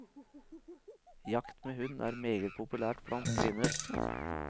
Jakt med hund er meget populært blant kvinner.